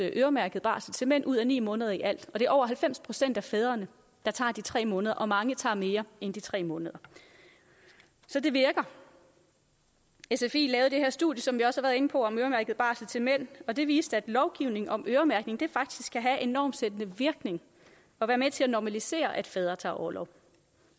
øremærket barsel til mænd ud af ni måneder i alt og det er over halvfems procent af fædrene der tager de tre måneder og mange tager mere end de tre måneder så det virker sfi lavede det her studie som vi også har været inde på om øremærket barsel til mænd og det viste at lovgivningen om øremærkning faktisk kan have en normsættende virkning og være med til at normalisere at fædre tager orlov